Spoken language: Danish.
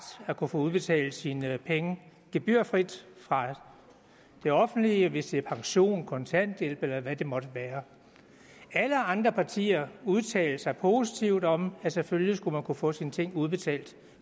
at kunne få udbetalt sine penge gebyrfrit fra det offentlige hvis det er pension kontanthjælp eller hvad det måtte være alle andre partier udtalte sig positivt om at selvfølgelig skulle man kunne få sine ting udbetalt